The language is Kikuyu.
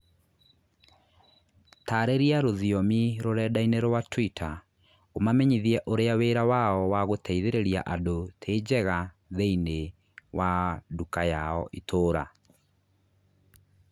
Taarĩria rũthiomi rũrenda-inī rũa tũita ũmamenyithie ũrĩa wĩra wao wa gũteithĩrĩria andũ tĩ njega thĩinĩ wa nduka yao itũũra